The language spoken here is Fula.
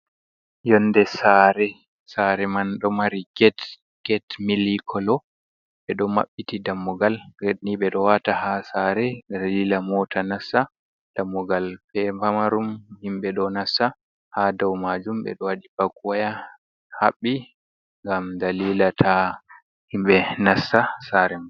Yonde sare, sare man ɗo mari get mili kolo, ɓe ɗo maɓɓiti dammugal ged ni ɓe ɗo wata ha sare dalila mota nassa, dammugal be pamarum himɓɓe ɗo nasta, ha dau majum ɓe ɗo waɗi bak waya haɓɓi ngam dalila ta himɓɓe nasta sare man.